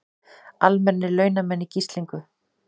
Almennir launamenn í gíslingu